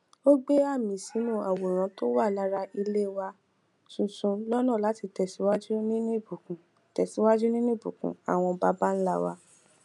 ó gbẹ àmì sínú àwòrán tó wà lára ilé wa tuntun lọnà láti tẹsíwájú nínú ìbùkún tẹsíwájú nínú ìbùkún àwọn baba ńlá wa